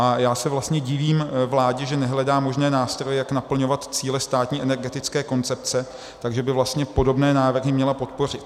A já se vlastně divím vládě, že nehledá možné nástroje, jak naplňovat cíle státní energetické koncepce, takže by vlastně podobné návrhy měla podpořit.